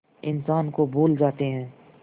इंसान को भूल जाते हैं